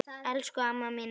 Elsku amma mín er dáin.